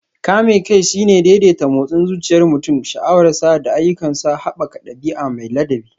Kame kai shine daidaita motsin zuciyar mutum, sha'awarsa, da ayyukansa, haɓaka ɗabi'a mai ladabi.